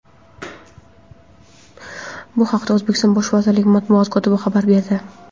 Bu haqda O‘zbekiston Bosh vaziri matbuot kotibi xabar berdi.